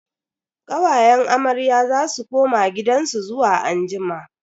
Kawayen amarya za su koma gidansu zuwa anjima.